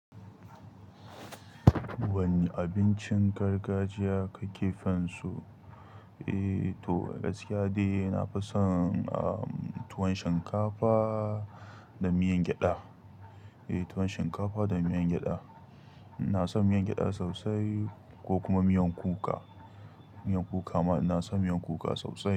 Wani abincin gargajiya ka ke fin so? Eh to gaskiya dai na fi son ah tuwon shinkafa da miyan gyada. Eh tuwon shinkafa da miyan gyada. Ina son miyan gyada sosai ko kuma miyan kuka. Miyan kuka ma ina son miyan kuka sosai.